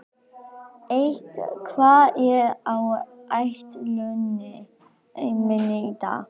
Eik, hvað er á áætluninni minni í dag?